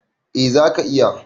Eh zaka iya.